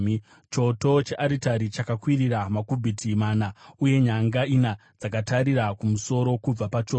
Choto chearitari chakakwirira namakubhiti mana, uye nyanga ina dzakatarisa kumusoro kubva pachoto.